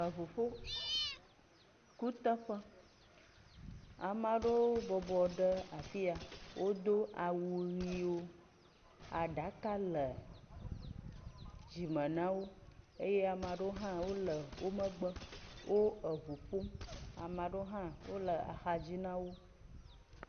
Eŋu ƒo kuteƒe, ame aɖewo bɔbɔ ɖe afi ya, wodo awu ʋiwo , aɖaka le dzime na wo eye ame aɖewo hã wole wo megbe eye wole axadzi na wo.